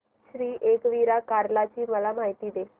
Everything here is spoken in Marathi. श्री एकविरा कार्ला ची मला माहिती दे